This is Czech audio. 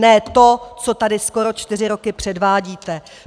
Ne to, co tady skoro čtyři roky předvádíte.